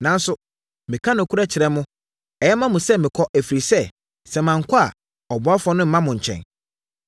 Nanso, meka nokorɛ kyerɛ mo; ɛyɛ ma mo sɛ mɛkɔ, ɛfiri sɛ, sɛ mankɔ a, ɔboafoɔ no remma mo nkyɛn.